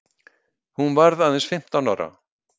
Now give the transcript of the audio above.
Hún varð aðeins fimmtán ára.